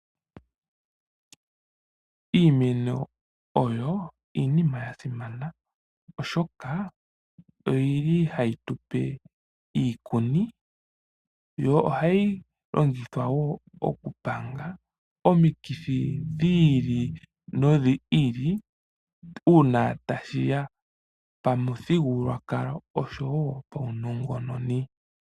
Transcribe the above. Iimeno oyo iinima ya simana, oshoka oyili hayi tupe iikuni. Yo ohayi longithwa wo oku panga omikithi dhi ili nodhi ili , uuna tashi ya pa muthigululwakalo osho wo pawu nnongononi.